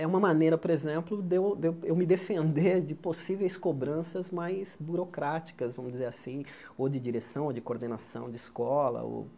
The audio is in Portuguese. É uma maneira, por exemplo, de eu de eu eu me defender de possíveis cobranças mais burocráticas, vamos dizer assim, ou de direção, ou de coordenação de escola ou.